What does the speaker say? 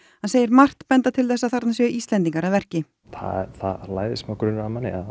hann segir margt benda til þess að þarna séu Íslendingar að verki það læðist smá grunur að manni að